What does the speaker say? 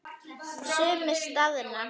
Sumir staðna.